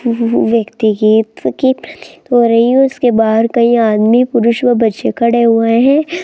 व्यक्ति की प्रतीत हो रही है उसके बाहर कई आदमी पुरुष व बच्चे खड़े हुए हैं।